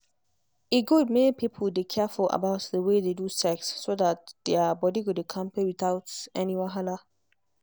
e good make people dey careful about the way they do sex so that their body go dey kampe without any wahala.